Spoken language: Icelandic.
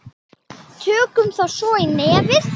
Tökum þá svo í nefið!